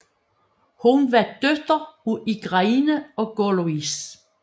Hun var datter af Igraine og Gorlois